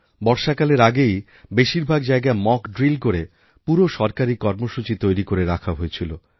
বর্ষাকালের আগেই বেশিরভাগ জায়গায় মক ড্রিল করে পুরো সরকারি কর্মসূচি তৈরি করে রাখা হয়েছিল